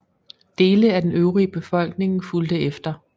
Dele af den øvrige befolkning fulgte efter